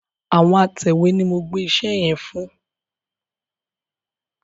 Àwọn atẹ̀wé ni mo gbẹ́ iṣẹ́ yẹn fún.